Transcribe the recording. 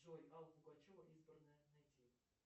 джой алла пугачева избранное найти